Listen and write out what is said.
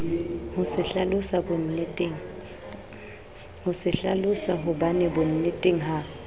ho se hlalosahobane bonneteng ha